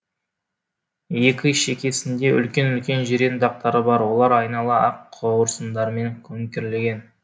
екі шекесінде үлкен үлкен жирен дақтары бар олар айнала ақ қауырсындармен көмкерілген